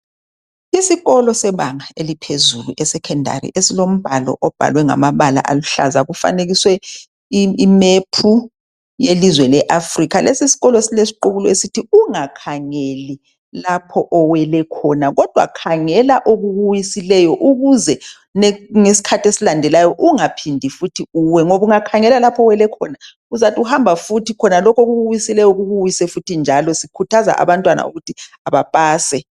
Isikolo sebanga eliphezulu esecondary esilombhalo obhalwe ngamabala aluhlaza kufanekiswe imap yelizwe le Africa lesikolo silesiqhubulo esithi ungakhangeli lapho owele khona kodwa khangela okukuwisileyo ukuze ngesikhathi esilandelayo ungaphindi futhi uwe ngoba ungakhangela lapho owele uzathi uhamba futhi lokho okukuwisileyo kukuwise futhi njalo sikhuthaza abantwana ukuthi abapase.